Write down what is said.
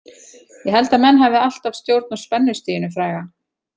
Ég held að menn hafi alltaf stjórn á spennustiginu fræga.